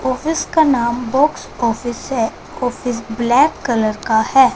Office का नाम box office हैं ऑफिस ब्लैक कलर का हैं।